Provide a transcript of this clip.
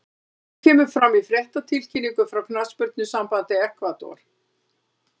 Þetta kemur fram í fréttatilkynningu frá knattspyrnusambandi Ekvador.